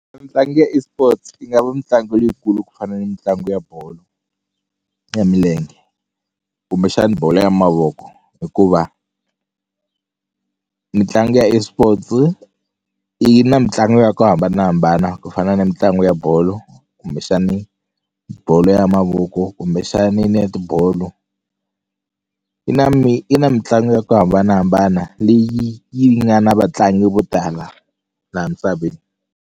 ya eSports yi nga va mitlangu yikulu ku fana ni mitlangu ya bolo ya milenge kumbexani bolo ya mavoko hikuva mitlangu ya eSports yi na mitlangu ya ku hambanahambana ku fana ni mitlangu ya bolo kumbexani bolo ya mavoko kumbexani netibolo yi na yi na mitlangu ya ku hambanahambana leyi yi nga na vatlangi vo tala laha misaveni.